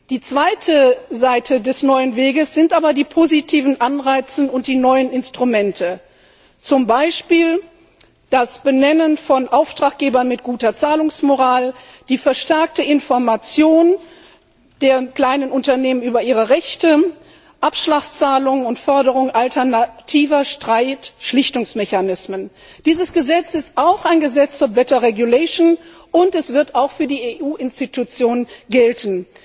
Die zweite Seite des neuen Weges sind aber die positiven Anreize und die neuen Instrumente, zum Beispiel das Benennen von Auftraggebern mit guter Zahlungsmoral, die verstärkte Information der kleinen Unternehmen über ihre Rechte, Abschlagszahlungen und Förderung alternativer Streitschlichtungsmechanismen. Dieses Gesetz ist auch ein Gesetz zu better regulation und es wird auch für die EU Institutionen gelten.